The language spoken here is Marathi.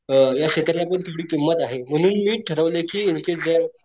या क्षेत्रा ला पण तेवढी किंमत आहे म्हणून मी ठरवलं कि